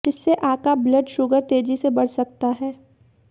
जिससे आका blood sugar तेजी से बढ़ सकता है